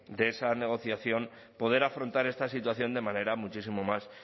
de esa negociación poder afrontar esta situación de manera muchísimo más